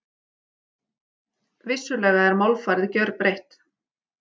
Vissulega er málfarið gjörbreytt.